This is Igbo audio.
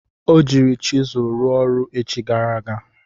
O jiiri chizụl ruo ọrụ echi gara aga.